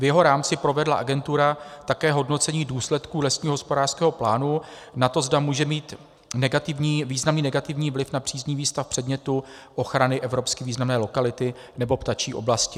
V jeho rámci provedla agentura také hodnocení důsledků lesního hospodářského plánu na to, zda může mít významný negativní vliv na příznivý stav předmětu ochrany evropsky významné lokality nebo ptačí oblasti.